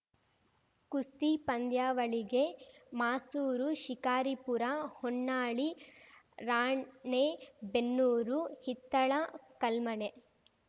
ಕುಸ್ತಿ ಪಂದ್ಯಾವಳಿಗೆ ಮಾಸೂರು ಶಿಕಾರಿಪುರ ಹೊನ್ನಾಳಿ ರಾಣೇಬೆನ್ನೂರು ಹಿತ್ತಳ ಕಳ್ಮನೆ